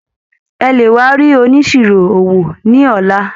Ẹ lè wá rí oníṣirò owó ní ọ̀la.